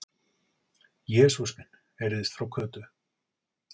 Jesús minn! heyrðist frá Kötu.